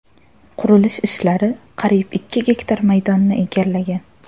Qurilish ishlari qariyb ikki gektar maydonni egallagan.